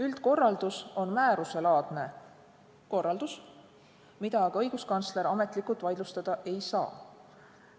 Üldkorraldus on määruselaadne korraldus, mida aga õiguskantsler ametlikult vaidlustada ei saa.